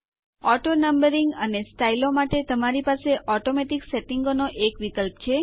auto numbering અને સ્ટાઈલો માટે તમારી પાસે ઓટોમેટિક સેટીંગો નો એક વિકલ્પ છે